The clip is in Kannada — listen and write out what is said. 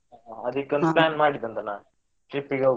ಅದಕ್ಕೆ plan ಮಾಡಿದ್ದು ಒಂದು ನಾನ್ trip ಇಗೆ ಹೋಗ್ವ.